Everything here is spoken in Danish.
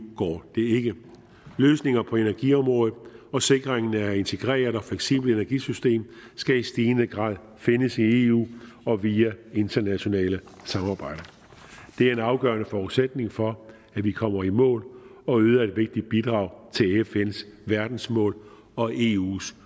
går det ikke løsninger på energiområdet og sikringen af integreret og fleksibelt energisystem skal i stigende grad findes i eu og via internationale samarbejder det er en afgørende forudsætning for at vi kommer i mål og yder et vigtigt bidrag til fns verdensmål og eus